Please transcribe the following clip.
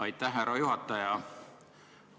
Aitäh, härra juhataja!